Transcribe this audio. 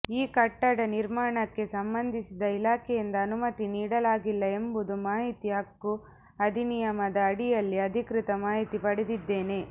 ಆ ಕಟ್ಟಡ ನಿಮರ್ಾಣಕ್ಕೆ ಸಂಬಂಧಿಸಿದ ಇಲಾಖೆಯಿಂದ ಅನುಮತಿ ನೀಡಲಾಗಿಲ್ಲ ಎಂಬುದು ಮಾಹಿತಿ ಹಕ್ಕು ಅಧಿನಿಯಮದ ಅಡಿಯಲ್ಲಿ ಅಧಿಕೃತ ಮಾಹಿತಿ ಪಡೆದಿದ್ದೇನೆ